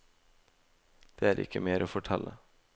Det er ikke mer å fortelle.